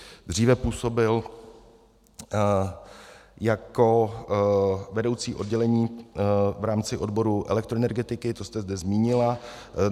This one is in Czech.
Dříve působil jako vedoucí oddělení v rámci odboru elektroenergetiky, to jste zde zmínila.